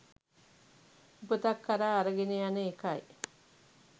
උපතක් කරා අරගෙන යන එකයි.